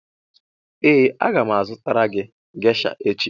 ee aga m azụtara gị gesha echi